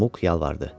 Muk yalvardı.